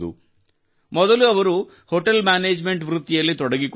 ಮೊದಲು ಅವರು hotel management ವೃತ್ತಿಯಲ್ಲಿ ತೊಡಗಿಕೊಂಡಿದ್ದರು